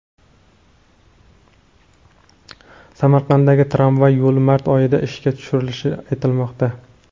Samarqanddagi tramvay yo‘li mart oyida ishga tushirilishi aytilmoqda.